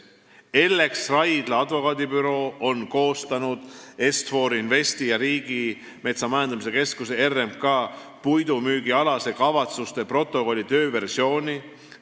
Ellex Raidla advokaadibüroo on koostanud Est-For Investi ja Riigimetsa Majandamise Keskuse puidumüügialase kavatsuste protokolli tööversiooni.